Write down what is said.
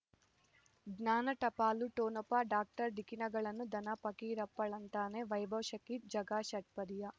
ಜ್ಞಾನ ಟಪಾಲು ಠೊಣಪ ಡಾಕ್ಟರ್ ಢಿಕ್ಕಿ ಣಗಳನು ಧನ ಫಕೀರಪ್ಪ ಳಂತಾನೆ ವೈಭವ್ ಶಕ್ತಿ ಝಗಾ ಷಟ್ಪದಿಯ